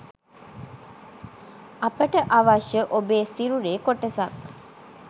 අපට අවශ්‍ය ඔබේ සිරුරේ කොටසක්